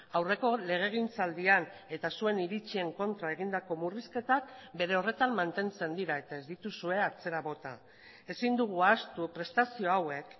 aurreko legegintzaldian eta zuen iritzien kontra egindako murrizketak bere horretan mantentzen dira eta ez dituzue atzera bota ezin dugu ahaztu prestazio hauek